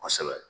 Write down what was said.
Kosɛbɛ